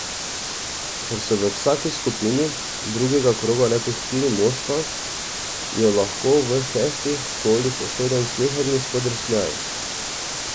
Ker so v vsaki skupini drugega kroga le po štiri moštva, je lahko v šestih kolih usoden sleherni spodrsljaj.